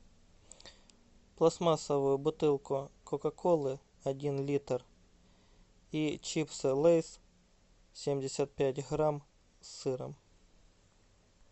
пластмассовую бутылку кока колы один литр и чипсы лейс семьдесят пять грамм с сыром